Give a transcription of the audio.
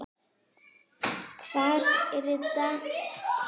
Hvar eru danirnir okkar?